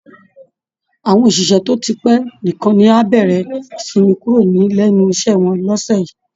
Àwọn òṣìṣẹ́ tó ti pẹ́ nìkan ni á bẹ̀rẹ̀ ìsinmi kúrò lẹ́nu iṣẹ́ wọn lọ́sẹ̀ yìí